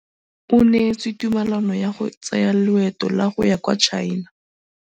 O neetswe tumalanô ya go tsaya loetô la go ya kwa China.